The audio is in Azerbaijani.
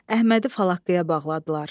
Əhmədi falaqqıya bağladılar.